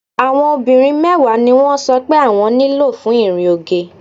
Àwọn obìnrin mẹ́wàá ni wọ́n sọ pé àwọn nílò fún ìrìn oge.